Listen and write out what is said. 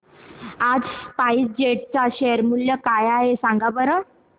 आज SpiceJet चे share मूल्य काय आहे सांगा बरं